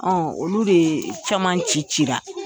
olu caman ci cira.